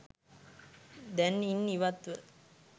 දැන් ඉන් ඉවත්ව